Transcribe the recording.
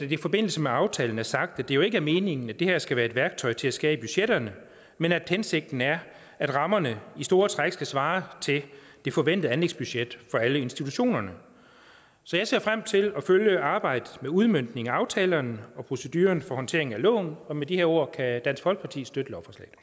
i forbindelse med aftalen er sagt at det jo ikke er meningen at det her skal være et værktøj til at skære i budgetterne men at hensigten er at rammerne i store træk skal svare til det forventede anlægsbudget for alle institutionerne så jeg ser frem til at følge arbejdet med udmøntningen af aftalerne og proceduren for håndteringen af loven og med de her ord kan dansk folkeparti støtte